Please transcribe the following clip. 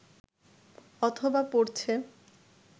অথবা পড়ছে